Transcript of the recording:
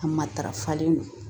A matarafalen don